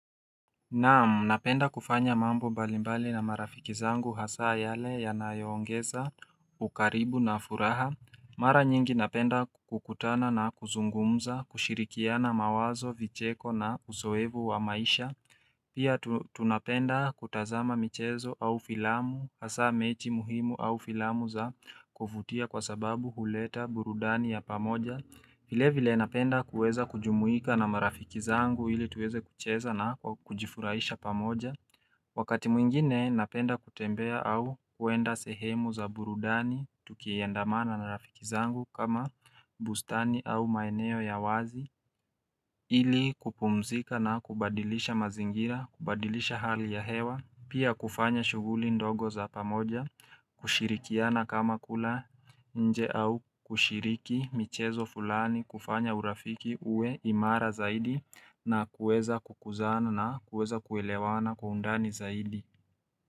Naam, napenda kufanya mambo mbalimbali na marafiki zangu hasa yale yanayo ongeza, ukaribu na furaha. Mara nyingi napenda kukutana na kuzungumza, kushirikiana mawazo, vicheko na uzoefu wa maisha. Pia tunapenda kutazama michezo au filamu, hasa mechi muhimu au filamu za kuvutia kwa sababu huleta burudani ya pamoja. Vile vile napenda kuweza kujumuika na marafiki zangu ili tuweze kucheza na kujifuraisha pamoja Wakati mwingine napenda kutembea au kwenda sehemu za burudani tukiandamana na marafiki zangu kama bustani au maeneo ya wazi ili kupumzika na kubadilisha mazingira, kubadilisha hali ya hewa Pia kufanya shuguli ndogo za pamoja kushirikiana kama kula nje au kushiriki michezo fulani kufanya urafiki uwe imara zaidi na kuweza kukuzana na kuweza kuelewana kwa undani zaidi.